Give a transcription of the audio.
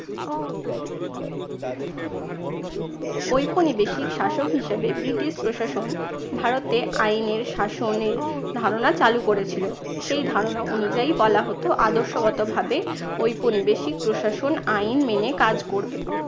ঔপনিবেশিক শাসক হিসেবে ব্রিটিশ প্রশাসন ভারতে আইনের শাসন এর ধারণা চালু করেছিল। সেই ধারণা অনুযায়ী বলা হতো আদর্শগত ভাবে ঔপনিবেশিক প্রশাসন আইন মেনে কাজ করবে।